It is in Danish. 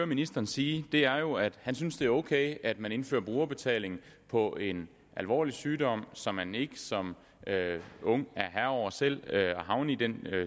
ministeren sige er jo at han synes at det er ok at man indfører brugerbetaling på en alvorlig sygdom som man ikke som ung er herre over selv altså at havne i den